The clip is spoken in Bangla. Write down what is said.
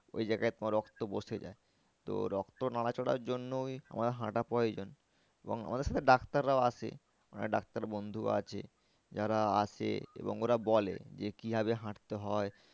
ওই জায়গায় তোমার রক্ত বসে যায় তো রক্ত নড়াচড়ার জন্যই আমাদের হাঁটা প্রয়োজন এবং আমাদের সাথে ডাক্তাররাও আসে। আমার একটা ডাক্তার বন্ধুও আছে যারা আসে এবং ওরা বলে যে কি ভাবে দেখতে হয়।